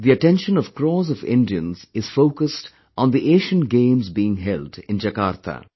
The attention of crores of Indians is focused on the Asian Games being held in Jakarta